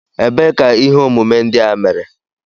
Ebee ka ihe omume ndị a mere?